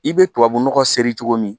I bɛ tubabunɔgɔ sere cogo min